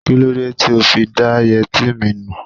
Kí ló dé tí ó fi da yẹtí mi nù?